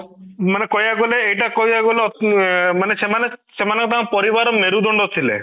ମାନେ କହିବାକୁ ଗଲେ ଏଇଟା କହିବାକୁ ଗଲେ ଅଂ ମାନେ ସେମାନେ ସେମାନେ ତାଙ୍କ ପରିବାରର ମେରୁଦଣ୍ଡ ଥିଲେ